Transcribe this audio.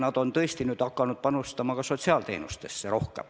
Nad on nüüd hakanud rohkem panustama ka sotsiaalteenustesse.